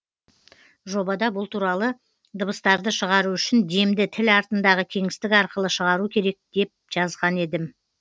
жобада бұл туралы дыбыстарды шығару үшін демді тіл артындағы кеңістік арқылы шығару керек жазған дедім